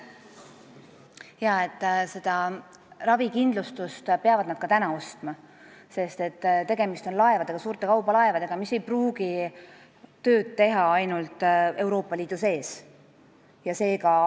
Ravikindlustust peavad nad ka praegu ostma, sest tegemist on suurte kaubalaevadega, mis ei pruugi ainult Euroopa Liidu sees tööd teha.